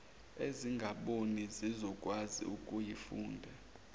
ezingaboni zizokwazi ukuyifunda